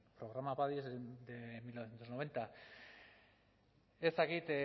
programa padi es de mil novecientos noventa ez dakit